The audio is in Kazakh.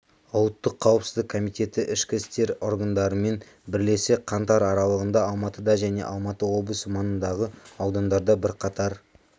ұлттық қауіпсіздік комитеті ішкі істер органдарымен бірлесе қаңтар аралығында алматыда және алматы облысы маңындағы аудандарда бірқатар